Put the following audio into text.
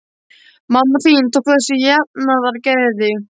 Mamma þín tók þessu með jafnaðargeði.